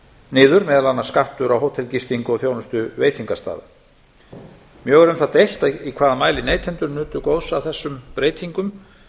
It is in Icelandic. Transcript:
niður meðal annars skattur á hótelgistingu og þjónustu veitingastaða mjög var um það deilt í hvaða mæli neytendur nutu góðs af þessum breytingum